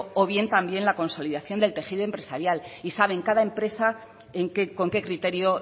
o bien también la consolidación del tejido empresarial y saben cada empresa en qué con qué criterio